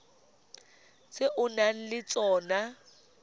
tse o nang le tsona